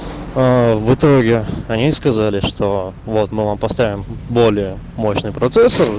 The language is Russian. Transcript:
в итоге они сказали что вот мы вам поставим более мощный процессор